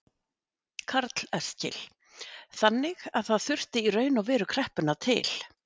Karl Eskil: Þannig að það þurfti í raun og veru kreppuna til?